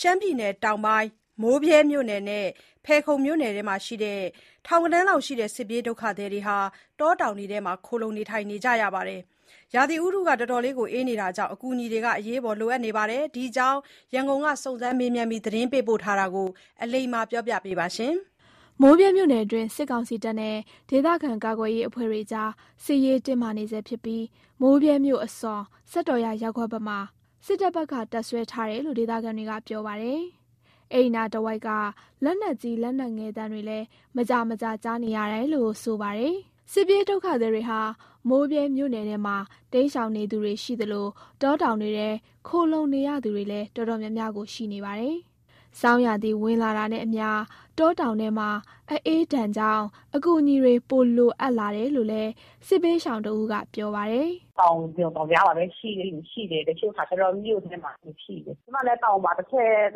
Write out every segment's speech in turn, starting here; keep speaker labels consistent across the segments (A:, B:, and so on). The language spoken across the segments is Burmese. A: ရှမ်းပြည်တောင်ပိုင်း မိုးဗြဲမြို့နယ်နဲ့ ဖယ်ခုံမြို့နယ်တွေမှာ တောတောင်တွေထဲခိုလှုံနေကြတဲ့ ထောင်ဂဏန်းရှိတဲ့ စစ်ပြေးဒုက္ခသည်တွေဟာ ဆောင်းရာသီအအေးဒဏ်ကြောင့် အကူအညီလိုအပ်နေပါတယ်။ ဒီအကြောင်း ရန်ကုန် စုံစမ်းမေးမြန်းသတင်းပေးပို့တာကို အလိမ္မာက တင်ပြပေးထားပါတယ်။ မိုးဗြဲမြို့နယ်တွင်း စစ်ကောင်စီတပ်နဲ့ ဒေသခံကာကွယ်ရေးအဖွဲ့တွေကြား စစ်ရေးတင်းမာနေဆဲဖြစ်ပြီး မိုးဗြဲမြို့အစွန် စက်တော်ရာရပ်ကွက်ဘက်မှာ စစ်တပ်က တပ်စွဲထားတယ်လို့ ဒေသခံတွေက ပြောပါတယ်။ အဲ့နားတဝိုက်က လက်နက်ကြီး လက်နက်ငယ်သံတွေလည်း မကြာမကြာ ကြားနေရတာလို့ ဆိုပါတယ်။ စစ်ပြေးဒုက္ခသည်တွေဟာ မိုးဗြဲမြို့နယ်ထဲမှာ တိမ်းရှောင်နေသူတွေရှိသလို တောတောင်တွေထဲ ခိုလှုံနေရသူတွေလည်း အတော်များများ ရှိနေပါတယ်။ ဆောင်းရာသီဝင်လာတာနဲ့အမျှ တောတောင်ထဲမှာ အအေးဒဏ်ကြောင့် အကူအညီတွေ ပိုလိုအပ်လာတယ်လို့ စစ်ဘေးရှောင်တဦးက ပြောပါတယ်။
B: “တောင်ကြိုတောင်ကြားမှာပဲ ရှိတဲ့လူရှိတယ်၊ တချို့ကကျတော့ မြို့ထဲမှာရှိတယ်။ ကျမလည်း တောင်ပေါ်မှာ ၂ ရက်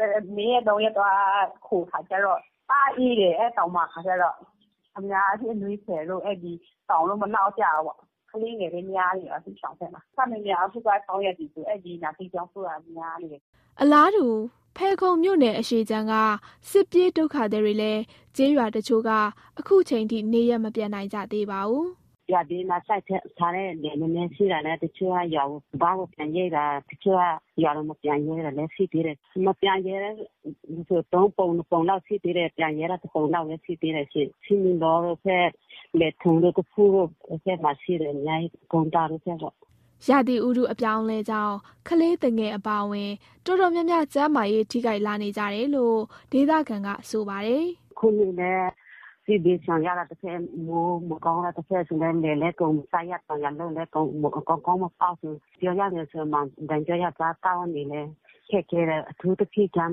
B: ၃ ရက် သွားခိုခါကျတော့ တအားအေးတယ်။ အဲ့တောင်မှာကျတော့ အများအားဖြင့် အနွေးထည်တို့၊ စောင်တို့ မလောက်ကြဘူးပေါ့။ ကလေးငယ်လည်း များနေတယ်။ စစ်ရှောင်ထဲမှာ ခပ်များများက ဆောင်းရာသီဆို အဲ့ဒီ နှာစေး၊ ချောင်းဆိုးများနေတယ်
A: ။” အလားတူ ဖယ်ခုံမြို့နယ်အရှေ့ခြမ်းက စစ်ပြေးဒုက္ခသည်တွေလည်း ကျေးရွာတချို့က ခုခ
C: ျိန် ထိ နေရပ်မပြန်နိုင်ကြသေးပါဘူး။ “ရွာဘေးမှာ စိုက်ထားတဲ့ လယ်များများရှိတဲ့ တချို့က ရွာကိုစပါးကိုပြန်ရိတ်တာ။ တချို့က ရွာကို မပြန်ရဲတာလည်း ရှိသေးတယ်။ မပြန်ရဲဆို ၃ ပုံ ၂ ပုံလောက်ရှိသေးတယ်။ ပြန်ရဲတာ ၁ ပုံလောက်ပဲ ရှိသေးတယ်ရှင့်။ ဆီးမီးလောဘက်၊ လယ်ထွန်တို့ အဲ့ဘက်မှာရှိတယ်။ အများကြီး ကုန်းသာတို့ဘက်ပေါ့။”
A: ရာသီဥတုအပြောင်းအလဲကြောင့် ကလေးသူငယ်အပါအဝင် အတော်များများ ကျန်းမာရေးထိခိုက်လာနေကြတယ်လို့ ဒေသခံက ပြောပါတယ်။ “အခုလည်း
C: စစ်ဘေးရှောင်ရတာတဘက်၊ မိုးမကောင်းတာတဘက်ဆိုလည်း လယ်လည်းအကုန်မစိုက်ရ၊ တောင်ယာလုပ်ရင်လည်း ကောင်းကောင်းမစိုက်ပျိုးရ၊ ပြောရရင် အစားအသောက်လည်းခက်ခဲတယ်။ အထူးသဖြင့်ကျန်း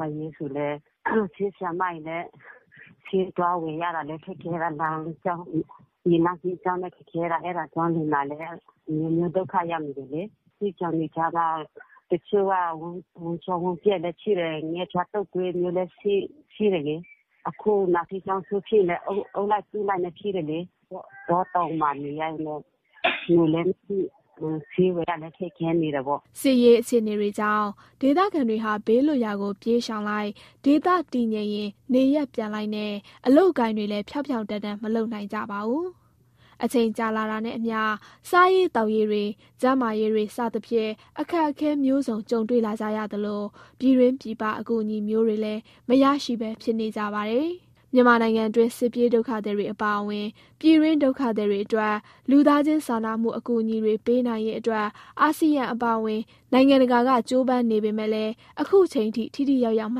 C: မာရေးဆိုလည်း ဆေးဆရာမတွေလည်း ဆေးသွားဝယ်ရတာခက်ခဲတယ်။ လမ်းကြောင်း ရေလမ်းကြောင်းလည်း ခက်ခဲတယ်။ အဲ့ဒါကြောင့် လူနာလည်း အမျိုးမျိုးဒုက္ခရောက်နေတယ်လေ။ စစ်ရှောင်တွေကြားမှာ တချို့က ဝမ်းလျှောဝမ်းပျက်လည်း ဖြစ်တယ်။ ငှက်ဖျား၊ တုပ်ကွေးလိုမျိုးလည်းဖြစ်တယ်လေ။ အခု နှာစေး ချောင်းဆိုးဖြစ်လည်း အုပ်လိုက်စုလိုက်နဲ့ဖြစ်တယ်လေ။ တောတောင်မှာနေရတာတော့ ငွေလည်းမရှိ၊ ဆေးဝယ်ရတာလည်း ခက်ခဲနေတယ်ပေါ့။”
A: စစ်ရေးအခြေအနေတွေကြောင့် ဒေသခံတွေဟာ ဘေးလွတ်ရာကို ပြေးရှောင်လိုက်၊ ဒေသတည်ငြိမ်ရင် နေရပ်ပြန်လိုက်နဲ့ အလုပ်အကိုင်တွေလည်း ဖြောင့်ဖြောင့်တန်းတန်းမလုပ်နိုင်ကြပါဘူး။ အချိန်ကြာလာတာနဲ့အမျှ စားရေးသောက်ရေး၊ ကျန်းမာရေး စတဲ့အခက်အခဲမျိုးစုံ ကြုံတွေ့လာကြရသလို ပြည်တွင်းပြည်ပအကူအညီမျိုးတွေလည်း မရရှိပဲဖြစ်နေကြပါတယ်။ မြန်မာနိုင်ငံတွင်း စစ်ပြေးဒုက္ခသည်တွေအပါအဝင် ပြည်တွင်းဒုက္ခသည်တွေအတွက် လူသားချင်းစာနာမှုအကူအညီတွေပေးနိုင်ရေး အာဆီယံအပါအဝင် နိုင်ငံတကာက ကြိုးပမ်းနေပေမဲ့လည်း ခုအချိန်အထိ ထိထိရောက်ရောက်မ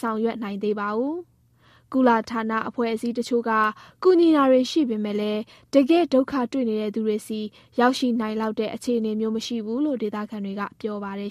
A: ဆောင်ရွက်နိုင်သေးပါဘူး။ ကုလ ဌာနအဖွဲ့အစည်းတချို့က ကူညီတာတွေရှိပေမယ့်လည်း တကယ်ဒုက္ခတွေ့နေတဲ့သူတွေဆီ ရောက်ရှိနိုင်လောက်တဲ့ အခြေအနေမျိုးမရှိဘူးလို့ ဒေသခံတွေက ပြောပါတယ်